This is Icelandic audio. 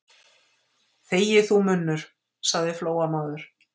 Þegi þú, munnur, sagði Flóamaður.